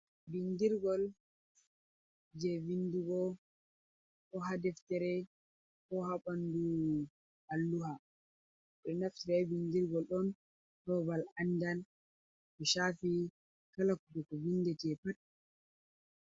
Bindirgol je windugo, ko haa deftere ko haa ɓandu alluha. Ɓe ɗo naftira be bindirgol on haa babal andal ko shaafi kala ko goɗɗo windata pat.